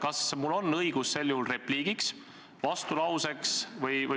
Kas mul on sel juhul õigus öelda repliik, esitada vastulause?